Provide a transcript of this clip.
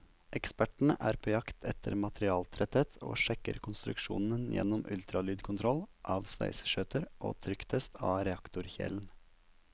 Ekspertene er på jakt etter materialtretthet, og sjekker konstruksjonen gjennom ultralydkontroll av sveiseskjøter og trykktest av reaktorkjelen.